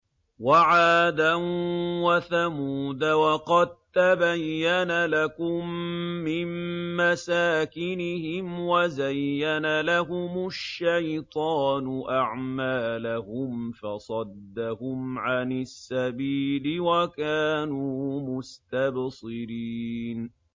وَعَادًا وَثَمُودَ وَقَد تَّبَيَّنَ لَكُم مِّن مَّسَاكِنِهِمْ ۖ وَزَيَّنَ لَهُمُ الشَّيْطَانُ أَعْمَالَهُمْ فَصَدَّهُمْ عَنِ السَّبِيلِ وَكَانُوا مُسْتَبْصِرِينَ